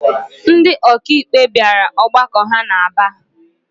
Ndị ọkàikpe bịara ọgbakọ ha n'Aba